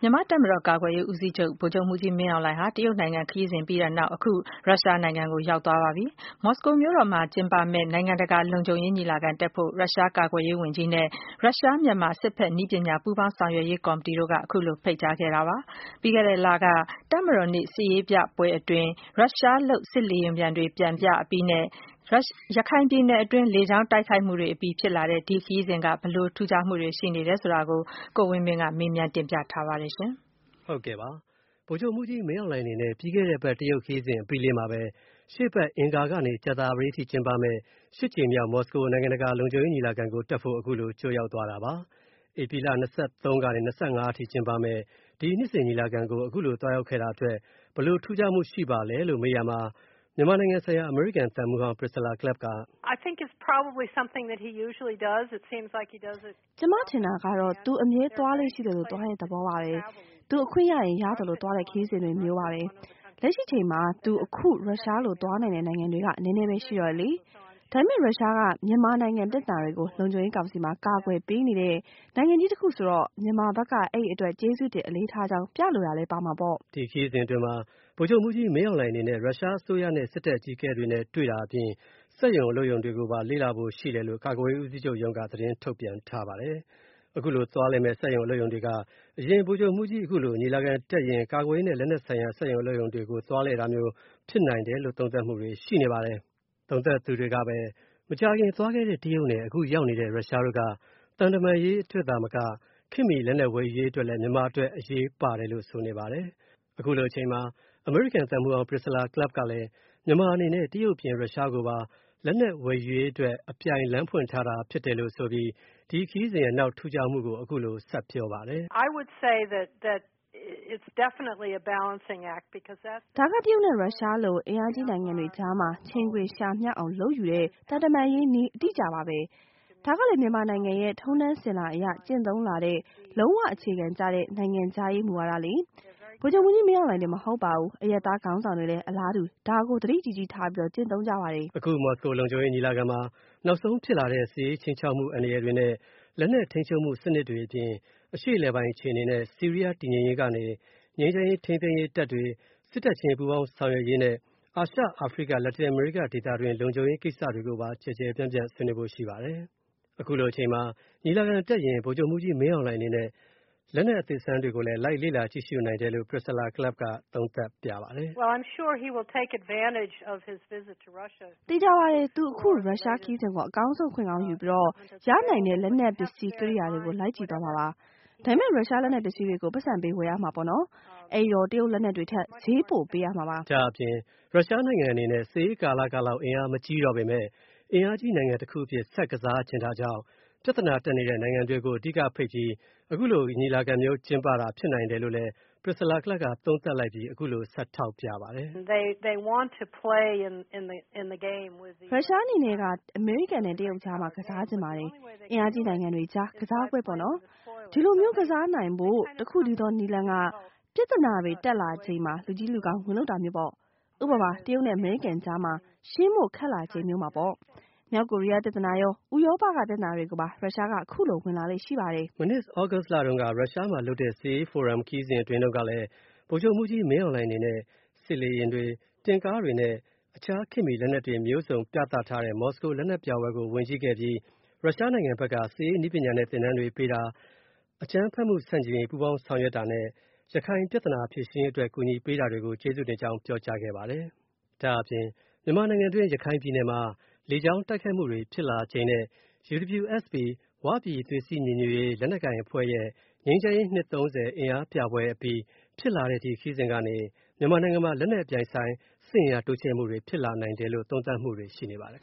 မြန်မာတပ်မတော် ကာကွယ်ရေးဦးစီးချုပ် ဗိုလ်ချုပ်မှူးကြီး မင်းအောင်လှိုင် အနေနဲ့ တရုတ်နိုင်ငံခရီးစဉ်အပြီးလေးမှာပဲ ရုရှား နိုင်ငံကို ရောက်သွားပါပြီ။ မော်စကိုမြို့တော်မှာလုပ်မယ့် နိုင်ငံတကာ လုံခြုံရေး ညီလာခံတက်ဖို့၊ ရုရှား ကာကွယ်ရေးဝန်ကြီး Sergey Kuzhugetovich Shouigu နဲ့ ရုရှား-မြန်မာ စစ်ဘက်နည်းပညာ ပူးပေါင်းဆောင်ရွက်ရေး ကော်မတီတို့က ခုလို ဖိတ်ကြားခဲ့တာပါ။ ပြီးခဲ့တဲ့လက တပ်မတော်နေ့ စစ်ရေးပြပွဲအတွင်း ရုရှားလုပ် စစ်လေယာဉ်ပျံတွေ ပျံပြအပြီးနဲ့ ရခိုင်ပြည်နယ်တွင်း လေကြောင်းတိုက်ခိုက်မူတွေအပြီး ဖြစ်လာတဲ့ ဒီခရီးစဉ်က ဘယ်လို ထူးခြားမူတွေရှိနေတာကို ကိုဝင်းမင်းက မေးမြန်းတင်ပြထားပါတယ်။ ဗိုလ်ချုပ်မှူးကြီး မင်းအောင်လှိုင် အနေနဲ့ ပြီးခဲ့တဲ့အပတ် တရုတ်နိုင်ငံခရီးစဉ်အပြီးလေးမှာပဲ ရှေ့အပတ် အင်္ဂါကနေ ကြသပတေးနေ့အထိ ကျင်းပမယ့် ၈ ကြိမ်မြောက် မော်စကိုမြို့တော်မှာလုပ်မယ့် နိုင်ငံတကာ လုံခြုံရေး ညီလာခံတက်ဖို့ အခုလို ကြိုရောက်သွားတာပါ။ ဧပြီလ ၂၃ ကနေ ၂၅ အထိ ကျင်းပမယ့် ဒီနှစ်စဉ် ညီလာခံကို အခုလိုသွားရောက်တာ ဘယ်လိုထူးခြားမှုရှိပါသလဲလို့ မေးရာမှာ မြန်မာနိုင်ငံဆိုင်ရာ အမေရိကန်သံမှူးဟောင်း Priscilla Clapp က “ကျွန်မထင်တာကတော့ သူ့ အမြဲ သွားလေ့ရှိသလို သွားတဲ့သဘောပါပဲ၊ သူအခွင့်ရရင် ရသလို သွားတဲ့ ခရီးစဉ်တွေ မျိုးပါပဲ။ လက်ရှိအချိန်မှာ သူ အခု ရုရှားလို သွားနိုင်တဲ့ နိုင်ငံတွေက နည်းနည်းပဲ ရှိတော့တယ်လေ။ ဒါပေမဲ့ ရုရှားက မြန်မာနိုင်ငံပြဿနာတွေကို လုံခြုံရေးကောင်စီမှာ ကာကွယ်ပေးနေတဲ့ နိုင်ငံကြီးတစ်ခုဆိုတော့၊ မြန်မာဘက်က အဲ့ဒီအပေါ် ကျေးဇူးတင်အလေးထားကြောင်း ပြလိုတာလဲပါမှာပေါ့။” ဒီခရီးစဉ်အတွင်းမှာ ဗိုလ်ချုပ်မှူးကြီး မင်းအောင်လှိုင်အနေနဲ့ ရုရှားအစိုးရနဲ့ စစ်တပ်အကြီးအကဲတွေနဲ့ တွေ့တာအပြင် စက်ရုံအလုပ်ရုံတွေကို လေ့လာဖို့ ရှိတယ်လို့ ကာကွယ်ရေးဦးစီးချုပ်ရုံးက သတင်းထုတ်ပြန်ထားပါတယ်။ အခုလိုသွားလည်မယ့် စက်ရုံအလုပ်ရုံတွေက အရင် ဗိုလ်ချုပ်မှူးကြီး အခုလို ညီလာခံတက်ရင် ကာကွယ်ရေးနဲ့ လက်နက်ဆိုင်ရာ စက်ရုံအလုပ်ရုံတွေကို သွားလည်တာမျိုး ဖြစ်နိုင်တယ်လို့ သုံးသပ်မှုတွေရှိနေပါတယ်။ သုံးသပ်သူတွေကပဲ မကြာခင်သွားခဲ့တဲ့တရုတ်နဲ့ အခုရောက်နေတဲ့ ရုရှားတို့က သံတမန်ရေးအတွက်သာမက ခေတ်မှီလက်နက်ဝယ် ယူရေးအတွက်လည်း မြန်မာအတွက်ရေးပါတယ်လို့ ဆိုနေပါတယ်။ အမေရိကန်သံမှူးဟောင်း Priscilla Clapp ကလည်း မြန်မာအနေနဲ့ တရုတ်အပြင် ရုရှားကိုပါ လက်နက်ဝယ်ယူရေးအတွက် အပြိုင်လမ်းဖွင့်ထားတာ ဖြစ်တယ်လို့ဆိုပြီး ဒီခရီးစဉ်ရဲ့ နောက်ထူးခြားမှုကို အခုလို ဆက်ပြောပါတယ်။ “ဒါက တရုတ်နဲ့ ရုရှားလို အင်အားကြီး နိုင်ငံတွေအကြားမှာ ချိန်ခွင်လျှာမျှအောင် လုပ်ယူတဲ့ သံတမန်ရေးနည်း အတိအကျပါပဲ။ ဒါကလည်း မြန်မာနိုင်ငံရဲ့ထုံးတမ်းစဉ်လာအရ ကျင့်သုံးလာတဲ့ လုံးဝ အခြေခံကျတဲ့ နိုင်ငံခြားရေးမူဝါဒလေ။ ဗိုလ်ချုပ်မှူးကြီး မင်းအောင်လှိုင်တင် မဟုတ်ပါဘူး၊ အရပ်သားခေါင်းဆောင်တွေလည်း အလားတူ ဒါကို သတိကြီးကြီးထားပြီး ကျင့်သုံးကြပါတယ်။” အခု မော်စကို နိုင်ငံတကာ လုံခြုံရေး ညီလာခံမှာ နောက်ဆုံးဖြစ်လာတဲ့ စစ်ရေးခြိမ်းခြောက်မှု အန္တရာယ်တွေနဲ့ လက်နက်ထိန်းချုပ်မှု စနစ်တွေအပြင် အရှေ့အလယ်ပိုင်း အခြေအနေနဲ့ ဆီးရီးယား တည်ငြိမ်ရေးကနေ ငြိမ်းချမ်းရေး ထိန်းသိမ်းရေး တပ်တွေ ၊ စစ်တပ်ချင်းပူးပေါင်းဆောင်ရွက်ရေးနဲ့ အာရှ၊ အာဖရိက၊ လက်တင်အမေရိက ဒေသတွင်း လုံခြုံရေး ကိစ္စတွေကိုပါ ကျယ်ကျယ်ပြန့်ပြန့်ဆွေးနွေးဖို့ ရှိပါတယ်။ အခုလိုအချိန်မှာ ညီလာခံတက်ရင်း ဗိုလ်ချုပ်မှူးကြီး မင်းအောင်လှိုင်အနေနဲ့ လက်နက်အသစ်အဆန်းတွေကို လိုက်လေ့လာကြည့်ရှုနိုင်တယ်လို့ Priscilla Clapp ကလည်းသုံးသပ်ပါတယ်။ “သေချာပါတယ်။ သူအခု ရုရှားခရီးစဉ်ကို အကောင်းဆုံး အခွင့်ကောင်းယူပြီး ရနိုင်တဲ့ လက်နက်ပစ္စည်းကရိယာတွေကို လိုက်ကြည့်သွားမှာပါ။ ဒါပေမဲ့ ရုရှားလက်နက်ပစ္စည်းတွေကို ပိုက်ဆံပေး ဝယ်ရမှာပေါ့နော်၊ အဲ့ဒီတော့ တရုတ်လက်နက်တွေထက် ဈေးပိုပေး ရမှာပါ။” ဒါ့အပြင် ရုရှားအနေနဲ့ စစ်အေးကာလလောက် အင်အားမကြီးတော့ပေမယ့် အင်အားကြီးနိုင်ငံတခုအဖြစ် ဆက်ပြီး ကစားချင်တာကြောင့် ပြဿနာတက်နေတဲ့ နိုင်ငံတွေကို အဓိက ဖိတ်ပြီး အခုလို ညီလာခံမျိုးကျင်းပတာ ဖြစ်နိုင်တယ်လို့ Priscilla Clapp က သုံးသပ်လိုက်ပါတယ်။ “ရုရှားအနေနဲ့က အမေရိကန်နဲ့ တရုတ်ကြားမှာ ကစားချင်ပါတယ်။ အင်အားကြီးနိုင်ငံတွေအကြား ကစားပွဲပေါ့နော်။ ဒီလိုမျိုး ကစားနိုင်ဖို့ တစ်ခုတည်းသောလမ်းက၊ ပြဿနာတွေ တက်လာချိန်မှာ လူကြီးလူကောင်း ဝင်လုပ်တာမျိုးပေါ့နော်။ ဥပမာ - တရုတ်နဲ့အမေရိကန်ကြား မှာ ရှင်းဖို့ ခက်လာချိန်မျိုးမှာပေါ့။ မြောက်ကိုရီးယားပြဿနာရော၊ ဥရောပက ပြဿနာတွေမှာပါ ရုရှားက ခုလို ဝင်လာလေ့ရှိပါတယ်။” မနှစ်သြဂုတ်လတုန်းက ရုရှားမှာလုပ်တဲ့ စစ်ရေးဖိုရမ်ခရီးစဉ်အတွင်းတုန်းကလည်း ဗိုလ်ချုပ်မှူးကြီး မင်းအောင်လှိုင်အနေနဲ့ စစ်လေယာဉ်တွေ တင့်ကားတွေနဲ့ အခြားခေတ်မှီလက်နက်တွေမျိုးစုံ ပြသထားတဲ့ မော်စကိုလက်နက်ပြပွဲကို ဝင်ကြည့်ခဲ့ပြီး ရုရှားနိုင်ငံဘက်က စစ်ရေးနည်းပညာနဲ့ သင်တန်းတွေပေးတာ အကြမ်းဖက်မှု ဆန့်ကျင်ရေး ပူးပေါင်းဆောင်ရွက်တာနဲ့ ရခိုင်ပြဿနတွေ ဖြေရှင်းရေးအတွက် ကူညီပေးတာတွေကို ကျေးဇူးတင်ကြောင်း ပြောကြားခဲ့ပါတယ်။ မြန်မာနိုင်ငံအတွင် းရခိုင်ပြည်နယ်မှာ လေကြောင်းတိုက်ခိုက်မှုတွေ ဖြစ်လာချိန်နဲ့ UWSP ၀ ပြည်သွေးစည်းညီညွတ်ရေး လက်နက်ကိုင်အဖွဲ့ရဲ့ ငြိမ်းချမ်းရေး နှစ် ၃၀ အင်အားပြပွဲအပြီး ဖြစ်လာတဲ့ ဒီခရီးစဉ်ကနေ မြန်မာနိုင်ငံမှာ လက်နက်အပြိုင်အဆိုင် စစ်အင်အားတိုးချဲ့မှုှတွေ ဖြစ်လာနိုင်တယ်လို့ သုံးသပ်မှုတွေ ရှိနေပါတယ်